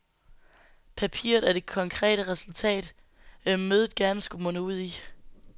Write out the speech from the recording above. Papiret er det konkrete resultat, mødet gerne skulle munde ud i.